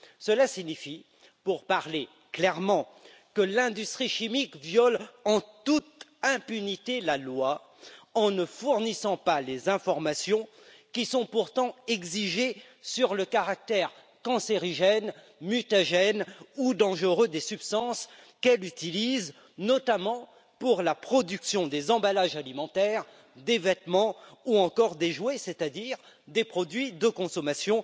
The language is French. Cela signifie, pour parler clairement, que l'industrie chimique viole en toute impunité la loi en ne fournissant pas les informations qui sont pourtant exigées sur le caractère cancérigène, mutagène ou dangereux des substances qu'elle utilise notamment pour la production des emballages alimentaires, des vêtements ou encore des jouets, c'est à dire des produits de consommation